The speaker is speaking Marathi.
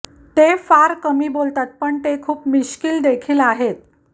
ते फार कमी बोलतात पण ते खूप मिश्कीलदेखील आहेत